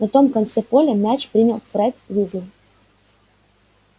на том конце поля мяч принял фред уизли